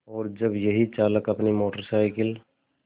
और जब यही चालक अपनी मोटर साइकिल